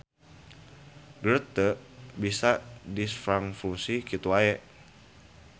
Geth teu bisa ditranfusi kitu wae.